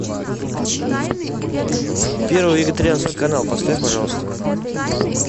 первый вегетарианский канал поставь пожалуйста